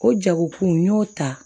O jagokun n y'o ta